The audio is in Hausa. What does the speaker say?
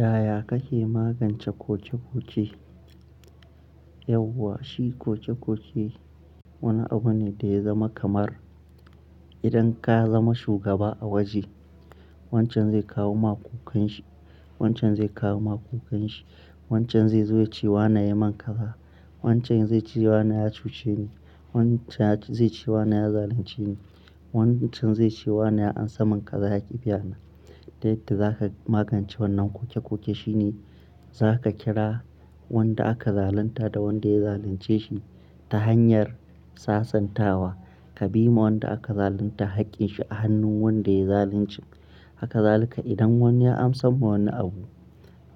Yaya kake magance koke-koke? Yauwa, shi koke-koke wani abu ne da ya zama kamar idan ka zama shugaba a waje wancan zai kawo ma kokanshi, wancan zai kawo ma kokanshi, wancan zai zo ya ce "wana ya yi min ƙaza", wancan zai ce "wana ya cuce ni", wancan zai ce "wana ya zalunce ni", wancan zai ce "wana ya amsa min kaza ya ƙi biyana". Don yadda za ka magance wannan koke-koke shine za ka kira wanda aka zalunta da wanda ya zalunce shi ta hanyar sasantawa. Ka bi ma wanda aka zalunta haƙƙin shi a hannun wanda ya zalunci. Hakazalika idan wani ya amsa ma wani abu